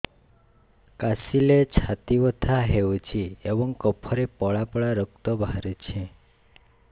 କାଶିଲେ ଛାତି ବଥା ହେଉଛି ଏବଂ କଫରେ ପଳା ପଳା ରକ୍ତ ବାହାରୁଚି